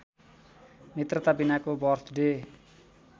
मित्रता बीनाको बर्थडे